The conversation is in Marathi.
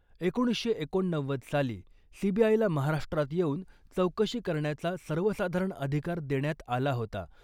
एकोणीसशे एकोणनव्वद साली सीबीआयला महाराष्ट्रात येऊन चौकशी करण्याचा सर्वसाधारण अधिकार देण्यात आला होता .